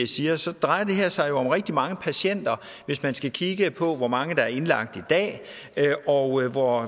siger så drejer det her sig jo om rigtig mange patienter hvis man skal kigge på hvor mange der er indlagt i dag og hvor